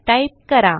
type करा